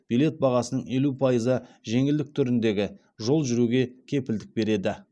билет бағасының елу пайызы жеңілдік түріндегі жол жүруге кепілдік береді